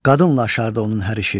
Qadınlaşardı onun hər işi.